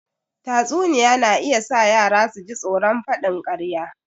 Tatsuniya na iya sa yara su ji tsoron faɗin ƙarya